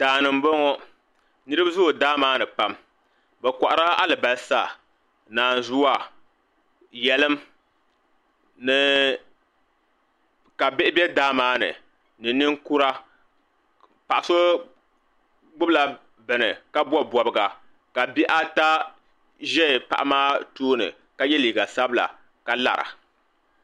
Daani n boŋo. Niribi zoo daa maa ni pam. Bɛ kohiri la alibalsa, nanzuwa, yelim ni ka bihi be daa maa ni, ni ninkura. Paɣa so be daa maa ni ka bobi bobiga ka bihi ata ʒɛ paɣa maa tooni ka ye liiga sabila ka lara.